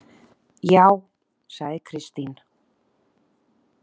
Já, sagði Kristín.